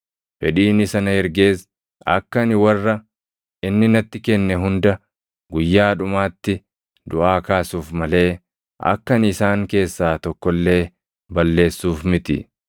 Fedhiin isa na ergees akka ani warra inni natti kenne hunda guyyaa dhumaatti duʼaa kaasuuf malee akka ani isaan keessaa tokko illee balleessuuf miti.